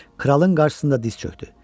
Kralın qarşısında diz çökdü.